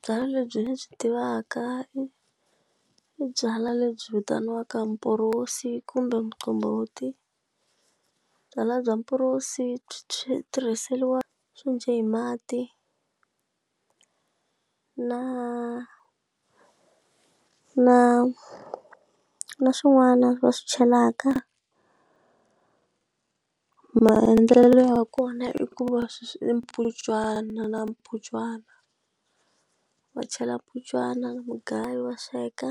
Byala lebyi ni byi tivaka i byalwa lebyi vitaniwaka mporosi kumbe muqombhoti byalwa bya mporosi byi tirhiseriwa swo hi mati na na na swin'wana va swi chelaka maendlelo ya kona i ku va swi i mputshwana na mputshwana va chela mputshwana na mugayo wa sweka